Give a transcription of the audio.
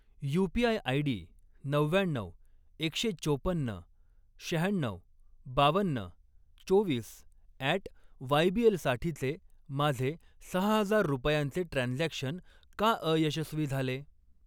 UPI ID नव्व्याण्णऊ, एकशे चोपन्न, शहाण्णव, बावन्न, चोवीस अॅट वायबीएल साठीचे माझे सहा हजार रुपयांचे ट्रान्झॅक्शन का अयशस्वी झाले?